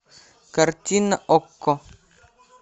картина окко